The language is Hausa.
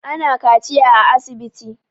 Ana kaciya a asibiti